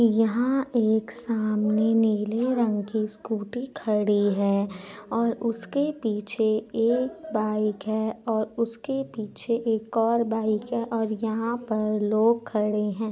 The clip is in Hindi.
यहाँ एक सामने नीला रंग की स्कूटी खड़ी है और उसके पीछे एक बाइक है और उसके पीछे एक और बाइक है और यहाँ पर लोग खड़े हैं।